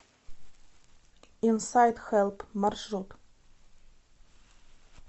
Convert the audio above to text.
инсайт хэлп маршрут